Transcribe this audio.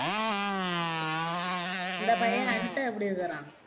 இந்த பையன் எப்படி இருக்கிறான்